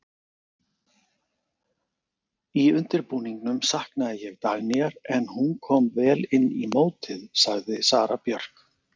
Í undirbúningnum saknaði ég Dagnýjar en hún kom vel inn í mótið sagði Sara Björk.